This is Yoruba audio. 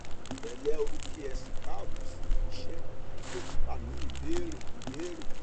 pẹlẹ o kí ẹ si káàbọ sí iṣẹ bí dókítà ní ìbéèrè ìbéèrè